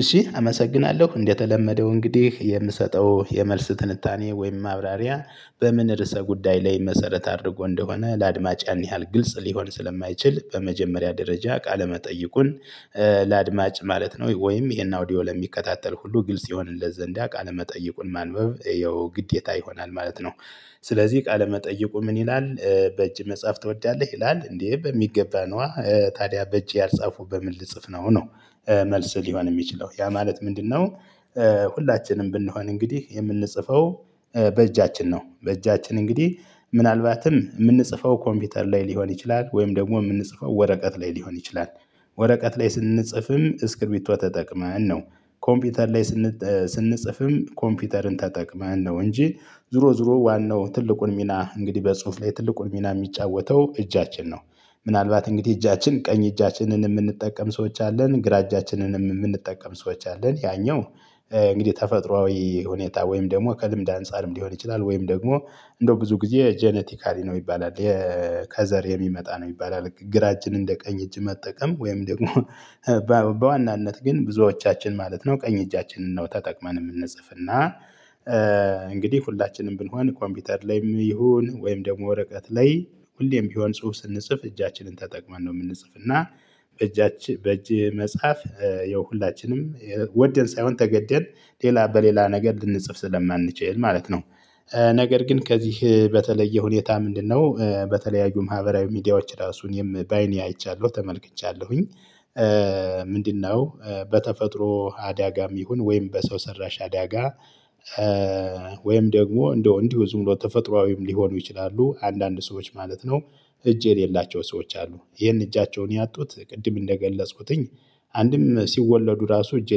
እሺ አመሰግናለሁ እንደተለመደው እንግዲህ የምሰጠው የመልስ ትንታኔ ወይም ማብራሪያ በምን ርዕሰ ጉዳይ ላይ መሰረት አድርጎ እንደሆነ ለአድማጭ ያን ያህል ግልጽ ሊሆን ስለማይችል በመጀመሪያ ደረጃ ቃለመጠይቁን ለአድማጭ ማለት ነው ወይም ይሄን አውዲዮ ለሚከታተል ሁሉ ግልጽ ይሆንለት ዘንድ ያው ቃለ መጠይቁን ማንበብ ይሄው ግዴታ ይሆናል ማለት ነው። ስለዚህ ቃለመጠየቁ ምን ይላል በእጅ መጻፍ ትወዳለህ ይላል እንዴ በሚገባ ነዋ ታዲያ በእጄ ያልጻፉ በምን ልጽፍ ነው ነው መልስ ሊሆን የሚችለው ያ ማለት ምንድነው? ሁላችንም ብንሆን እንግዲህ የምንጽፈው በእጃችን ነው በእጃችን እንግዲህ ምናልባትም የምንጽፈው ኮምፒውተር ላይ ሊሆን ይችላል ወይም ደግሞ የምንጽፈው ወረቀት ላይ ሊሆን ይችላል። ወረቀት ላይ ስንጽፍም እስክርቢቶ ተጠቅመን ነው ኮምፒውተር ላይ ስንጽፍም ኮምፒውተርን ተጠቅመን ነው እንጂ ዙሮ ዙሮ ዋናው ትልቁን ሚና እንግዲህ በጽሁፍ ላይ ትልቁን ሚና የሚጫወተው እጃችን ነው። ምናልባት እንግዲህ እጃችን ቀኝ እጃችንን የምንጠቀም ሰዎች አለን ግራ እጃችንንም የምንጠቀም ሰዎች አለን ያኛው። እንግዲህ ተፈጥሮአዊ ሁኔታ ወይም ደግሞ ከልምድ አንፃርም ሊሆን ይችላል ወይም ደግሞ እንደው ብዙ ጊዜ ጄኔቲካሊ ነው ይባላል። ከዘር የሚመጣ ነው ይባላል ግራ እጅን እንደ ቀኝ እጅ መጠቀም ወይም ደግሞ በዋናነት ግን ብዙዎቻችን ማለት ነው ቀኝ እጃችንን ነው ተጠቅመን የምንጽፍ እና። እንግዲህ ሁላችንም ብንሆን ኮምፒውተር ላይም ይሁን ወይም ደግሞ ወረቀት ላይ ሁሌም ቢሆን ጽሁፍ ስንጽፍ እጃችንን ተጠቅመን ነው የምንጽፍ እና በእጃችን በእጅ መጻፍ ይኸው ሁላችንም ወደን ሳይሆን ተገደን ሌላ በሌላ ነገር ልንጽፍ ስለማንችል ማለት ነው። ነገር ግን ከዚህ በተለየ ሁኔታ ምንድነው በተለያዩ ማህበራዊ ሚዲያዎች ራሱን እኔ በአይኔ አይቻለሁ ተመልክቻለሁኝ። ምንድነው? በተፈጥሮ አዳጋም ይሁን ወይም በሰው ሰራሽ አዳጋ ወይም ደግሞ እንደው እንዲሁ ዝም ብሎ ተፈጥሮአዊም ሊሆኑ ይችላሉ አንዳንድ ሰዎች ማለት ነው። እጅ የሌላቸው ሰዎች አሉ ይሄን እጃቸውን ያጡት ቅድም እንደገለጽኩትኝ አንድም ሲወለዱ ራሱ እጅ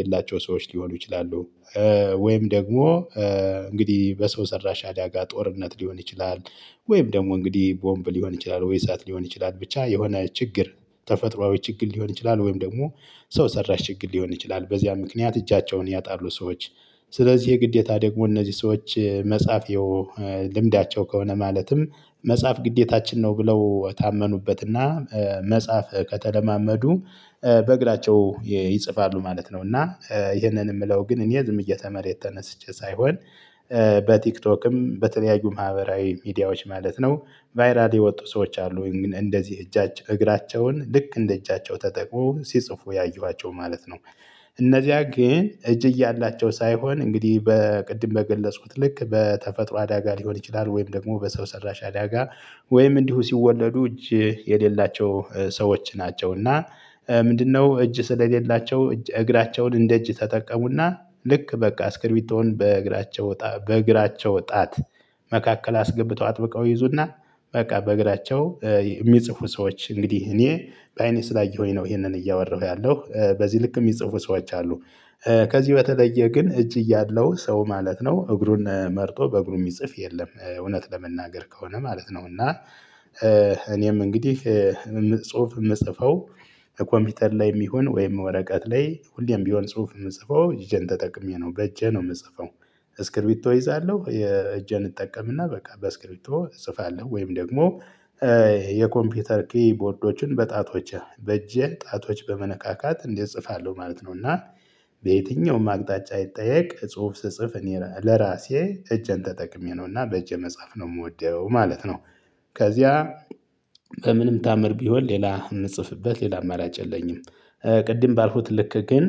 የሌላቸው ሰዎች ሊሆኑ ይችላሉ። ወይም ደግሞ እንግዲህ በሰው ሰራሽ አዳጋ ጦርነት ሊሆን ይችላል። ወይም ደግሞ እንግዲህ ቦምብ ሊሆን ይችላል ወይ እሳት ሊሆን ይችላል ብቻ የሆነ ችግር ተፈጥሮአዊ ችግር ሊሆን ይችላል ወይም ደግሞ ሰው ሰራሽ ችግር ሊሆን ይችላል በዚያ ምክንያት እጃቸውን ያጣሉ ሰዎች። ስለዚህ ግዴታ ደግሞ እነዚህ ሰዎች መጻፊ ያው ልምዳቸው ከሆነ ማለትም መጻፍ ግዴታችን ነው ብለው ታመኑበትና መጽሐፍ ከተለማመዱ በእግራቸው ይፅፋሉ ማለት ነው። እና ይሄንን የምለው ግን እኔ ዝም ብዬ ከመሬት ተነስቼ ሳይሆን በቲክቶክም በተለያዩ ማህበራዊ ሚዲያዎች ማለት ነው። ቫይራል የወጡ ሰዎች አሉ ግን እንደዚህ እጃች እግራቸውን ልክ እንደ እጃቸው ተጠቅመው ሲጽፉ ያየኋቸው ማለት ነው። እነዚያ ግን እጅ እያላቸው ሳይሆን እንግዲህ በቅድም በገለጽኩት ልክ በተፈጥሮ አዳጋ ሊሆን ይችላል ወይም ደግሞ በሰው ሰራሽ አዳጋ ወይም እንዲሁ ሲወለዱ እጅ የሌላቸው ሰዎች ናቸው። እና ምንድነው እጅ ስለሌላቸው እጅ እግራቸውን እንደ እጅ ተጠቀሙና ልክ በቃ እስክርቢቶን በእግራቸው ወጣ በእግራቸው ጣት መካከል አስገብተው አጥብቀው ይዙና በቃ በእግራቸው የሚጽፉ ሰዎች እንግዲህ እኔ በአይኔ ስላየሁኝ ነው ይሄንን እያወራሁ ያለው በዚህ ልክ የሚጽፉ ሰዎች አሉ። ከዚህ በተለየ ግን እጅ እያለው ሰው ማለት ነው እግሩን መርጦ በእግሩ የሚጽፍ የለም እውነት ለመናገር ከሆነ ማለት ነው እና። እኔም እንግዲህ ጽሁፍ የምጽፈው ኮምፒውተር ላይ የሚሆን ወይም ወረቀት ላይ ሁሌም ቢሆን ጽሁፍ የምጽፈው እጄን ተጠቅሜ ነው በእጄ ነው የምጽፈው። እስክርቢቶ እይዛለሁ የእጄን እጠቀምና በቃ በእስክርቢቶ እጽፋለሁ ወይም ደግሞ የኮምፒውተር ክቦርዶችን በጣቶቼ በእጄ ጣቶች በመነካካት እንዲህ እጽፋለሁ ማለት ነው። እና በየትኛውም አቅጣጫ ይጠየቅ ጽሁፍ ስጽፍ እኔ ለራሴ እጄን ተጠቅሜ ነውና በእጅ መጽሐፍ ነው የምወደው ማለት ነው። ከዚያ በምንም ታምር ቢሆን ሌላ የምጽፍበት ሌላ አማራጭ የለኝም። ቅድም ባልኩት ልክ ግን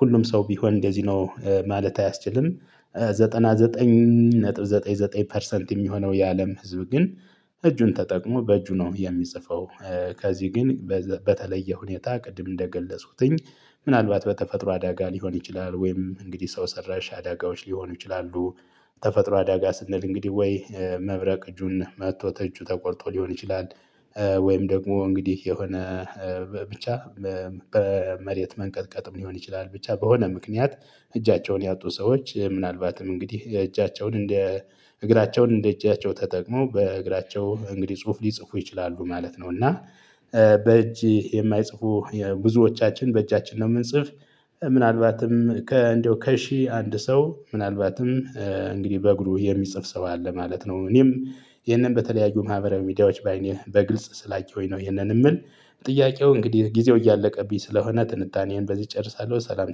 ሁሉም ሰው ቢሆን እንደዚህ ነው ማለት አያስችልም። ዘጠና ዘጠኝ ነጥብ ዘጠኝ ዘጠኝ ፐርሰንት የሚሆነው የአለም ህዝብ ግን እጁን ተጠቅሞ በእጁ ነው የሚጽፈው። ከዚህ ግን በተለየ ሁኔታ ቅድም እንደገለጽኩትኝ። ምናልባት በተፈጥሮ አዳጋ ሊሆን ይችላል ወይም እንግዲህ ሰው ሰራሽ አዳጋዎች ሊሆኑ ይችላሉ። ተፈጥሮ አዳጋ ስንል እንግዲህ ወይ መብረቅ እጁን መጥቶ እጁ ተቆርጦ ሊሆን ይችላል። ወይም ደግሞ እንግዲህ የሆነ ብቻ መሬት መንቀጥቀጥም ሊሆን ይችላል ብቻ በሆነ ምክንያት እጃቸውን ያጡ ሰዎች ምናልባትም እንግዲህ እጃቸውን እንደ እግራቸውን እንደ እጃቸው ተጠቅሞ በእግራቸው እንግዲህ ጽሁፍ ሊጽፉ ይችላሉ ማለት ነው። እና በእጅ የማይጽፉ ብዙዎቻችን በእጃችን ነው የምንጽፍ። ምናልባትን ከእንደው ከሺህ አንድ ሰው ምናልባትም እንግዲህ በእግሩ የሚጽፍ ሰው አለ ማለት ነው። እኔም ይሄንን በተለያዩ ማህበረዊ ምድያዎች በአይኔ በግልጽ ስላየውኝ ነው ይሄንን የምል። ጥያቄው እንግዲህ ጊዜው እያለቀብኝ ስለሆነ ጥንታኔዬን በዚህ እጨርሳለሁ ሰላም